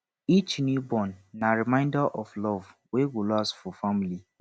each newborn na reminder of love wey go last for family